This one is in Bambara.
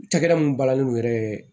Cakɛda mun balani yɛrɛ ye